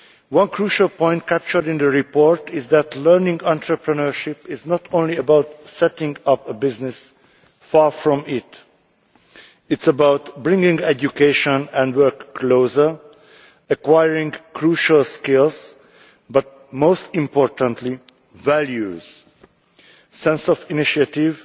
One crucial point captured in the report is that learning entrepreneurship is not only about setting up a business far from it. It is about bringing education and work closer, acquiring crucial skills, and most importantly acquiring values a sense of initiative,